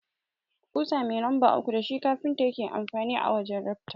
Ƙusa mai lamba uku dashi kafinta yake amfani a wajan rafta.